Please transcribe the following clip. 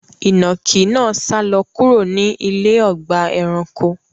Inákì náà sàlọ̀ kúrò ní ilẹ̀ ọgba ẹ̀ránkò